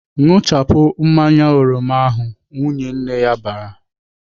"Ṅụchapụ mmanya oroma ahụ!" Nwunye nna ya bara.